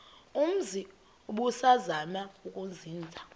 umzi ubusazema ukuzinza